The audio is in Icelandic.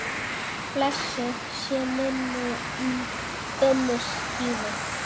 Blessuð sé minning ömmu Stínu.